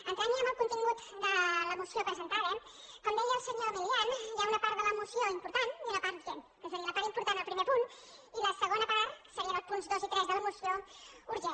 entrant ja en el contingut de la moció presentada com deia el senyor milián hi ha una part de la moció important i una part urgent que seria la part important el primer punt i la segona part que serien els punts dos i tres de la moció urgent